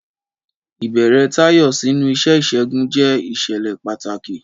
Ìbẹ̀rẹ̀ Tayo sínú iṣẹ́ ìṣègùn jẹ́ ìṣẹ̀lẹ̀ pàtàkì.